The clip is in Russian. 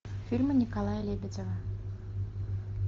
фильмы николая лебедева